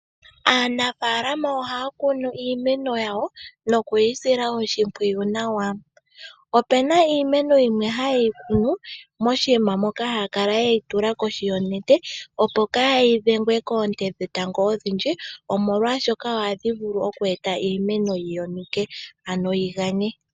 Aanafalama ohaya kunu iimeno yawo nokuyi sila oshimpwiyu nawa. Opuna iimeno yimwe ha yeyi kunu moshinima moka haya kala yeyi tula koshi yonete, opo kaa yi dhengwe koonte dhetango oodhindji omolwashoka ohadhi vulu okwee titha iimeno yi yonuke ano yi ganye.